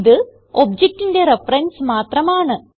ഇത് objectന്റെ റെഫറൻസ് മാത്രമാണ്